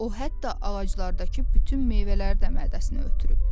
O hətta ağaclardakı bütün meyvələri də mədəsinə ötürüb.